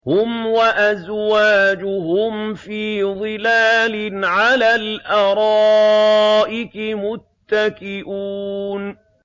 هُمْ وَأَزْوَاجُهُمْ فِي ظِلَالٍ عَلَى الْأَرَائِكِ مُتَّكِئُونَ